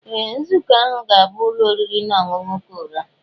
Ee! Nzukọ ahụ ga-abụ n'ụlọ oriri na ọṅụṅụ Korea.